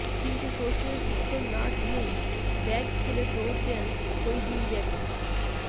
কিন্তু প্রশ্নের উত্তর না দিয়েই ব্যাগ ফেলে দৌড় দেন ওই দুই ব্যক্তি